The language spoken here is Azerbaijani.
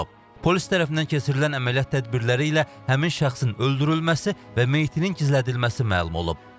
Polis tərəfindən keçirilən əməliyyat tədbirləri ilə həmin şəxsin öldürülməsi və meyitinin gizlədilməsi məlum olub.